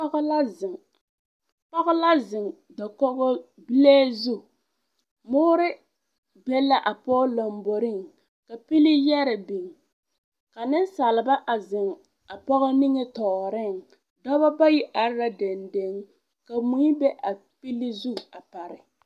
Pɔge la zeŋ dakole zu, muuri be la a pɔge lamboriŋ , ka pilii yɛre biŋ ka nensaalba a zeŋ a pɔgɔ nimitɔreŋ dɔba bayi are la denden, ka moi be a pilli zu a pare.